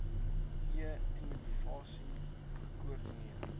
e innovasie gekoordineer